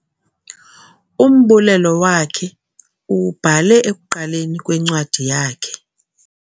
Umbulelo wakhe uwubhale ekuqaleni kwencwadi yakhe